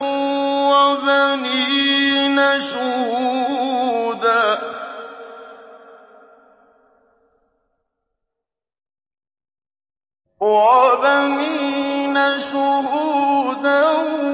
وَبَنِينَ شُهُودًا